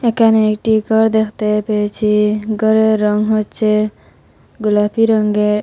এখানে একটি ঘর দেখতে পেয়েছি ঘরের রঙ হচ্ছে গোলাপি রঙ্গের।